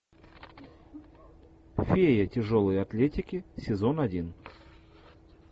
фея тяжелой атлетики сезон один